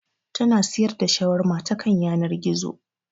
Ta na siyar da Shawarma ta kan yanar gizo